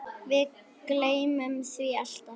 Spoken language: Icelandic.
Við gleymum því alltaf